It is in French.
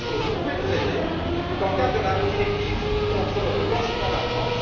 Deuxième chose vous pouvez nous aider dans le cadre de la directive contre le blanchiment d'argent.